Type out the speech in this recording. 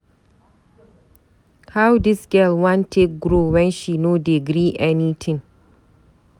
How dis girl wan take grow when she no dey gree any tin.